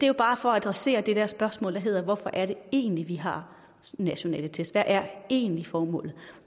jo bare for at adressere det der spørgsmål der hedder hvorfor er det egentlig at vi har nationale test hvad er egentlig formålet